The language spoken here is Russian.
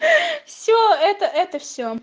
все это это все